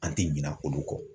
An tɛ ɲinɛ olu kɔ.